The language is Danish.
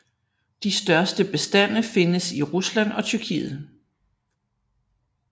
De største bestande findes i Rusland og Tyrkiet